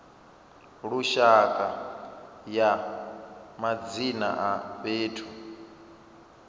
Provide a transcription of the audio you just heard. lushaka ya madzina a fhethu